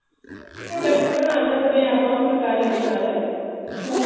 product ਬਣਾ ਸਕਦੇ ਹਾਂ ਆਪਾਂ ਫੁਲਕਾਰੀ ਦੇ ਨਾਲ suit